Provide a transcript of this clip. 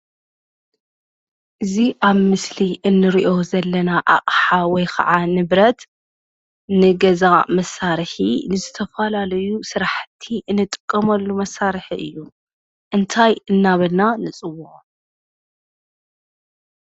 እዚ ኣብ ምስሊ እንሪኦ ዘለና ኣቅሓ ወይ ከዓ ንብረት ንገዛ መሳርሒ ዝተፈላለዩ ስራሕቲ እንጥቀመሉ መሳርሒ እዩ፡፡ እንታይ እናበልና ንፅውዖ?